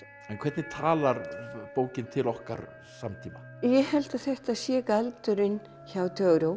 en hvernig talar bókin til okkar samtíma ég held að þetta sé galdurinn hjá